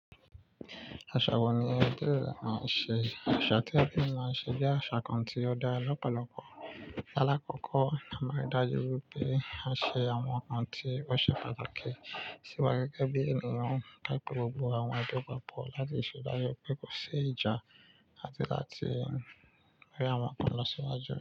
Aṣa wo ni ẹbi rẹ máa ń ṣe? Aṣa tí ẹbi mi máa ń ṣe jẹ́ aṣa kan tí ó da lọ́pọ̀lọpọ. Lálakọ́kọ́, a máa ń ri dájú pé a ṣe àwọn nǹkan tí ó ṣe pàtàkì sí wa gẹ́gẹ́ bí ènìyàn, pé gbogbo àwọn ẹbi máa pọ̀ láti ṣeda pe tó kò sí ìjà àti láti mú àwọn nǹkan lọ síwájú.